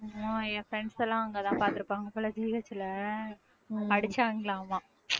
இன்னும் என் friends எல்லாம் அங்கதான் பார்த்திருப்பாங்க போல GH ல அடிச்சாங்களாமாம்